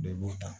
Bɛɛ b'o ta